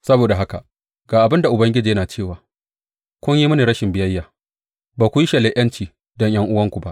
Saboda haka, ga abin da Ubangiji yana cewa, kun yi mini rashin biyayya; ba ku yi shelar ’yanci don ’yan’uwanku ba.